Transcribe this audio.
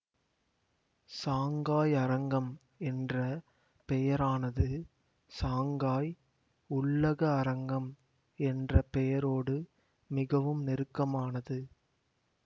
Shanghai அரங்கம் என்ற பெயரானது சாங்காய் உள்ளக அரங்கம் என்ற பெயரோடு மிகவும் நெருக்கமானது